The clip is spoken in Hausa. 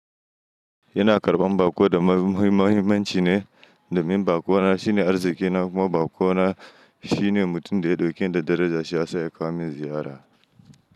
Yana karɓan bako da muhimmahimanci ne, domin baƙo na shine arziƙina kuma baƙo na shi ne mutum da ya ɗauken da daraja, shi ya saya ya kawomin ziyara.